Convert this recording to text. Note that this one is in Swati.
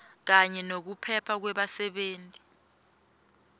kanye nekuphepha kwebasebenti